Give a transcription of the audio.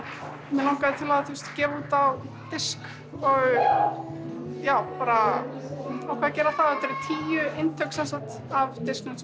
mig langaði til að gefa út á disk og já ákvað að gera það þetta voru tíu eintök af